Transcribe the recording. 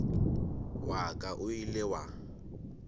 wa ka o ile wa